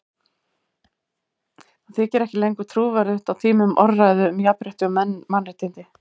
Það þykir ekki lengur trúverðugt á tímum orðræðu um jafnrétti og mannréttindi.